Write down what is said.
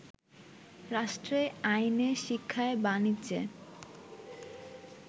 রাষ্ট্রে, আইনে, শিক্ষায়, বাণিজ্যে